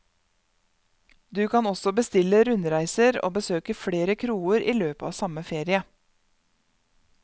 Du kan også bestille rundreiser og besøke flere kroer i løpet av samme ferie.